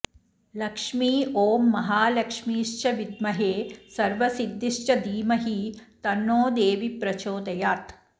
लक्ष्मी ॐ महालक्ष्मीश्च विद्महे सर्वसिद्धिश्च धीमहि तन्नो देवी प्रचोदयात्